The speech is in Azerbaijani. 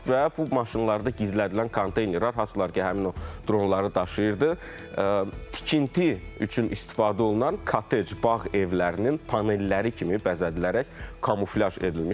və bu maşınlarda gizlədilən konteynerlər, hansılar ki, həmin o dronları daşıyırdı, tikinti üçün istifadə olunan kotedj bağ evlərinin panelləri kimi bəzədilərək kamuflyaj edilmişdi.